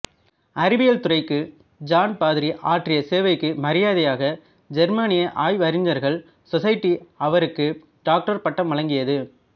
அறிவியல் துறைக்கு ஜான் பாதிரி ஆற்றிய சேவைக்கு மரியாதையாக ஜெர்மானிய ஆய்வறிஞர்கள் சொஸைட்டி அவருக்கு டாக்டர் பட்டம் வழங்கியது